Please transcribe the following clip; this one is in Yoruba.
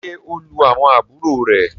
ṣe o lù àwọn àbúrò rẹ!